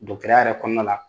ya yɛrɛ kɔnɔna la